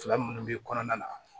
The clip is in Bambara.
Fila minnu bɛ kɔnɔna na